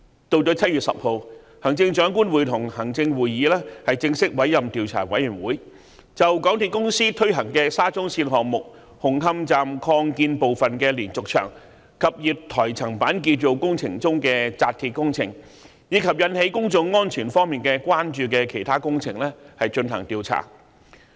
到了7月10日，行政長官會同行政會議正式委任調查委員會，就港鐵公司推行的沙中線項目紅磡站擴建部分的連續牆及月台層板建造工程中的扎鐵工程，以及引起公眾安全方面關注的其他工程，進行調查。